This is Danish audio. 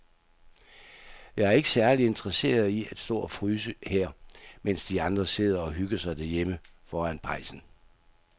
Jeg er ikke særlig interesseret i at stå og fryse her, mens de andre sidder og hygger sig derhjemme foran pejsen.